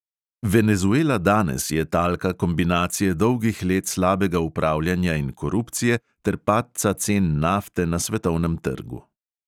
Venezuela danes je talka kombinacije dolgih let slabega upravljanja in korupcije ter padca cen nafte na svetovnem trgu.